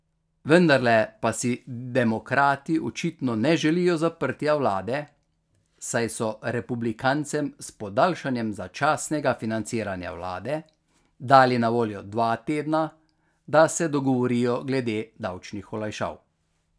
Vendarle pa si demokrati očitno ne želijo zaprtja vlade, saj so republikancem s podaljšanjem začasnega financiranja vlade dali na voljo dva tedna, da se dogovorijo glede davčnih olajšav.